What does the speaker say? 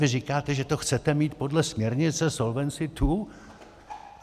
Vy říkáte, že to chcete mít podle směrnice Solvency II.